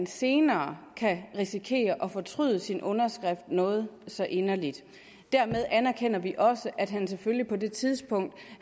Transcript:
senere kan risikere at fortryde sin underskrift noget så inderligt dermed anerkender vi også at han selvfølgelig på det tidspunkt